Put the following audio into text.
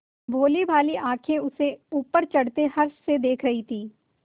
भोलीभाली आँखें उसे ऊपर चढ़ते हर्ष से देख रही थीं